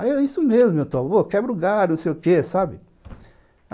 Aí, é isso mesmo, meu, quebra o galho, não sei o quê, sabe?